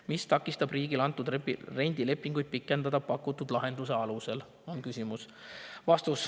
Mis takistab riigil antud rendilepingud pikendada pakutud lahenduse alusel?